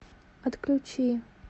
отключи